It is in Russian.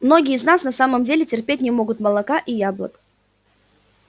многие из нас на самом деле терпеть не могут молока и яблок